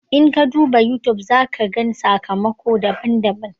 In ka duba YouTube, za ka gan sakamako daban-daban.